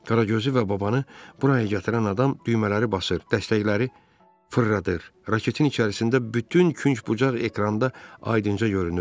Qaragözü və babanı buraya gətirən adam düymələri basır, dəstəkləri fırladır, raketin içərisində bütün künc-bucaq ekranda aydınca görünürdü.